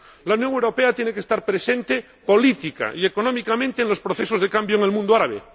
La Unión Europea tiene que estar presente política y económicamente en los procesos de cambio en el mundo árabe.